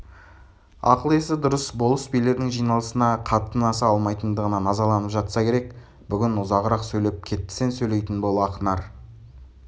ақыл-есі дұрыс болыс-билердің жиналысына қатынаса алмайтындығына назаланып жатса керек бүгін ұзағырақ сөйлеп кеттісен сөйлейтін бол ақнар